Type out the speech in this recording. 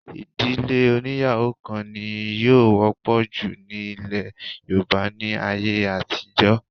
Ìdílé oní́yàwó kan ni yóò wọ́pọ̀ jù ní ilẹ̀ Yorùbá ní ayé àtijọ́